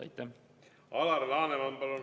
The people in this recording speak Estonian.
Alar Laneman, palun!